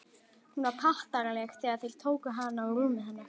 Hún var pattaraleg þegar þeir tóku hana og rúmið hennar.